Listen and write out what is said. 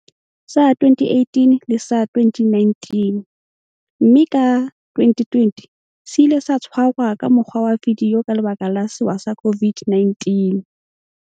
sa 2018 le sa 2019, mme ka 2020 se ile sa tshwarwa ka mokgwa wa vidio ka lebaka la sewa sa COVID-19.